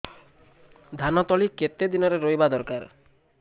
ଧାନ ତଳି କେତେ ଦିନରେ ରୋଈବା ଦରକାର